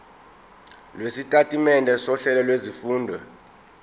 lwesitatimende sohlelo lwezifundo